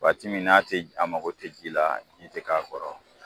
Waati min n'a tɛ a mako tɛ ji la ji tɛ k'a kɔrɔ.